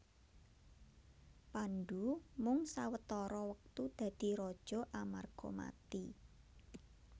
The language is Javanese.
Pandhu mung sawetara wektu dadi raja amarga mati